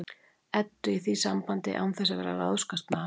Eddu í því sambandi án þess að vera að ráðskast með hana.